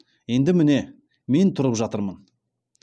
енді міне мен тұрып жатырмын